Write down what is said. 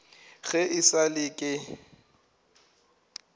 ge e sa le ke